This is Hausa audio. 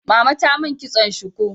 Mama ta mun kitson shuku